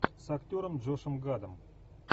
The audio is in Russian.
с актером джошем гадом